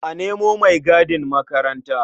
A nemo maigadin makaranta.